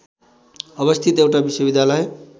अवस्थित एउटा विश्वविद्यालय